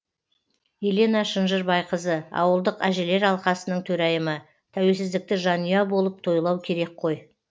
елена шынжырбайқызы ауылдық әжелер алқасының төрайымы тәуелсіздікті жанұя болып тойлау керек қой